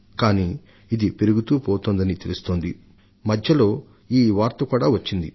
కానీ అందుకు బదులుగా ఉష్ణోగ్రత పెరుగుతూనే ఉండడాన్ని మనం చూస్తున్నాం